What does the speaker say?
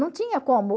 Não tinha como.